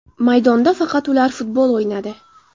Maydonda faqat ular futbol o‘ynadi.